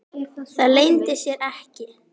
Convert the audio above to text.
Það leyndi sér ekki.